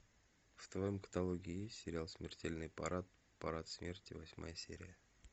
в твоем каталоге есть сериал смертельный парад парад смерти восьмая серия